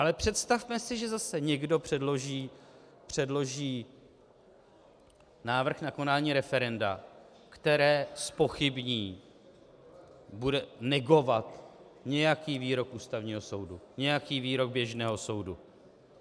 Ale představme si, že zase někdo předloží návrh na konání referenda, které zpochybní, bude negovat nějaký výrok Ústavního soudu, nějaký výrok běžného soudu.